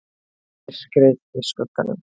MYRKRIÐ Í SKUGGANUM